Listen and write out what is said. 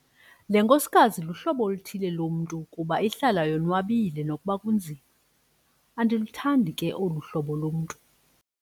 Le nkosikazi luhlobo oluthile lomntu kuba ihlala yonwabile nokuba kunzima. andiluthandi ke olu hlobo lomntu